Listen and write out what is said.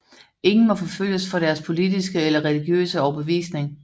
Ingen må forfølges for deres politiske eller religiøse overbevisning